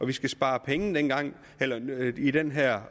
vi skal spare penge i den her